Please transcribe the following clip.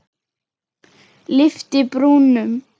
Lyfti brúnum.